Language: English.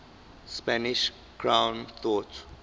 spanish crown thought